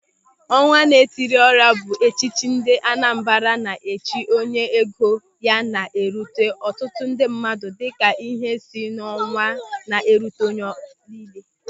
Ọnwa Na-Etiri Ọra bụ echichi ndị Anambra na-echi onye ego ya na-erute ọtụtụ ndị mmadụ dịka ihe si n'ọnwa ná-erute onye niile.